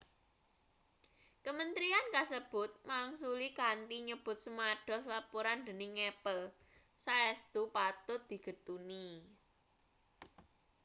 kementerian kasebut mangsuli kanthi nyebut semados lapuran dening apple saestu patut digetuni